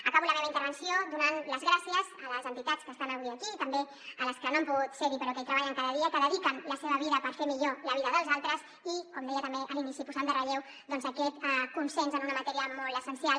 acabo la meva intervenció donant les gràcies a les entitats que estan avui aquí i també a les que no han pogut ser hi però que hi treballen cada dia que dediquen la seva vida per fer millor la vida dels altres i com deia també a l’inici posant en relleu doncs aquest consens en una matèria molt essencial